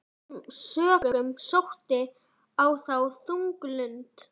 Af þessum sökum sótti á þá þung lund.